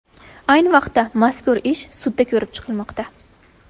Ayni vaqtda mazkur ish sudda ko‘rib chiqilmoqda.